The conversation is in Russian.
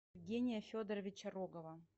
евгения федоровича рогова